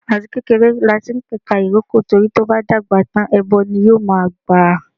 Àti kékeré lati ń pẹ̀ka ìrókò, torí tó bá dàgbà tán ẹbọ ni yóò ma gbà.